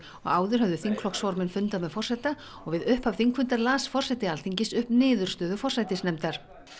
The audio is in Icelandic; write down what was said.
og áður höfðu þingflokksformenn fundað með forseta og við upphaf þingfundar las forseti Alþingis upp niðurstöðu forsætisnefndar